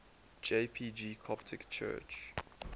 jpg coptic church